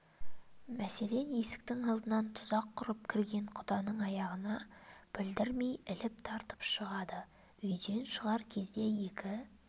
мәселен есіктің алдынан тұзақ құрып кірген құданың аяғына білдірмей іліп тартып жығады үйден шығар кезде екі